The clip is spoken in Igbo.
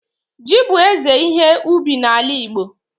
ji bu eze ihe ubi n'ala Igbo